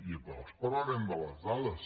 i llavors parlarem de les dades